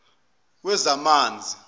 wezamanzi